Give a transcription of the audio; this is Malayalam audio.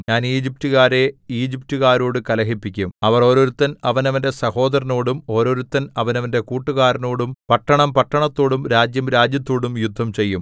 ഞാൻ ഈജിപ്റ്റുകാരെ ഈജിപ്റ്റുകാരോടു കലഹിപ്പിക്കും അവർ ഓരോരുത്തൻ അവനവന്റെ സഹോദരനോടും ഓരോരുത്തൻ അവനവന്റെ കൂട്ടുകാരനോടും പട്ടണം പട്ടണത്തോടും രാജ്യം രാജ്യത്തോടും യുദ്ധം ചെയ്യും